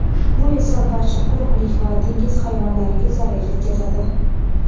bu esa barcha quruqlik va dengiz hayvonlariga zarar yetkazadi.